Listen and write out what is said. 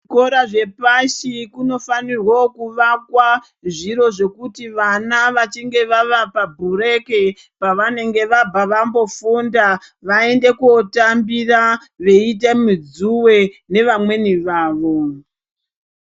Kuzvikora zvepashi kunofanirwovo kuvakwa zviro zvekuti vana vachinge vava pabureki pavanenge vabva vambofunda vaende kotambira, veiita midzuve nevamweni vavo.